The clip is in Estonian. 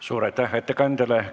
Suur aitäh ettekandjale!